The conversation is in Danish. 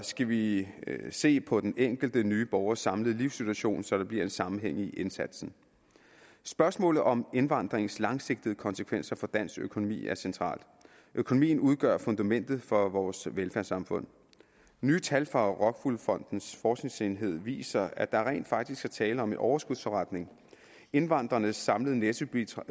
skal vi se på den enkelte nye borgers samlede livssituation så der bliver en sammenhæng i indsatsen spørgsmålet om indvandringens langsigtede konsekvenser for dansk økonomi er centralt økonomien udgør fundamentet for vores velfærdssamfund nye tal fra rockwool fondens forskningsenhed viser at der rent faktisk er tale om en overskudsforretning indvandrernes samlede nettobidrag